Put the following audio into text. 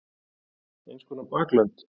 Eins konar baklönd.